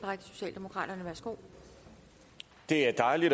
og det har vi